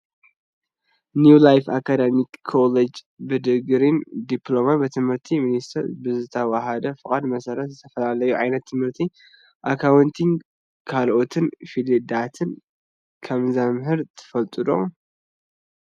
ኒው ላይፍ ኣካዳሚክ ኮሌጅ ብድግሪን ድፕሎማን ብትምህረቲ ሚንስቴር ብዝተዋሃቦ ፍቃድ መሰረት ብዝተፈላለዩ ዓይነት ትምህርቲ ኣካውንቲንግ ካልኦት ፊልድታት ከምዘምህር ትፈልጡ ዶ ?